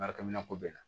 Baarakɛminɛn ko bɛɛ la